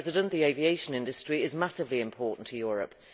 The aviation industry is massively important to Europe.